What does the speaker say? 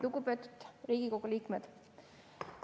Lugupeetud Riigikogu liikmed!